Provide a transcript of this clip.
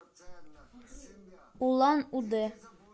улан удэ